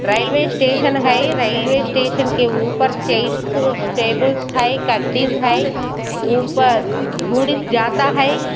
Railway station है railway station के ऊपर चेयर्स टेबुलस है गद्दी है ऊपर गुड्स जाता है।